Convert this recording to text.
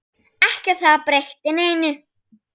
Ekki að það breytti neinu.